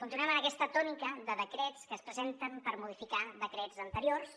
continuem en aquesta tònica de decrets que es presenten per modificar decrets anteriors